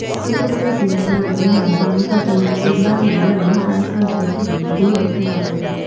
છત્રપતિ શિવાજીએ ગુરૂની આજ્ઞા અનુસાર સિંહણનું દૂધ લાવીને અને મહારાષ્ટ્ર જીતીને ગુરૂ દક્ષિણા આપી હતી